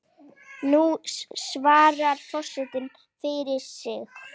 Nú svarar forseti fyrir sig.